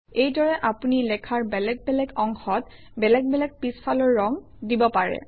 এইদৰে আপুনি লেখাৰ বেলেগে বেলেগ অংশত বেলেগ বেলেগ পিছফালৰ ৰং দিব পাৰে